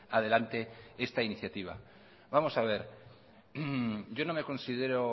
adelante esta iniciativa vamos a ver yo no me considero